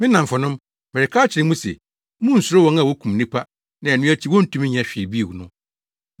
“Me nnamfonom, mereka akyerɛ mo se, munnsuro wɔn a wokum nipadua na ɛno akyi wontumi nyɛ hwee bio no.